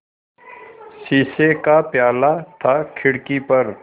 शीशे का प्याला था खिड़की पर